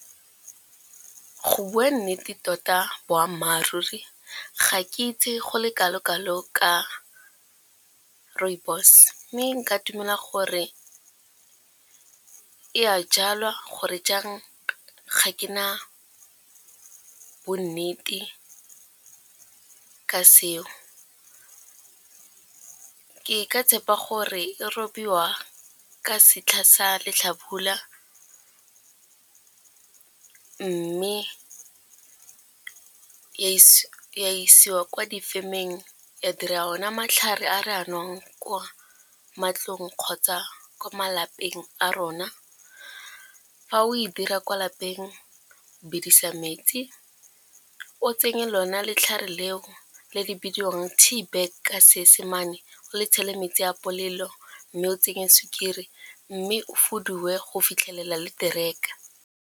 Go bua nnete tota boammaruri ga ke itse go le kalokalo ka rooibos mme nka dumela gore e a jalwa gore jang ga ke na bonnete ka seo, ke ka tshepa gore e robiwa ka setlha sa letlhabula mme ya isiwa ko difemeng ya dira ona matlhare a re a nwang kwa matlong kgotsa ko malapeng a rona. Fa o e dira kwa lapeng o bidisa metsi o tsenye lona letlhare leo le le di bidiwang tea bag ka seesemane o le tshele metsi a bolelo mme o tsenye sukiri mme o fudiwe go fitlhelela le tereka.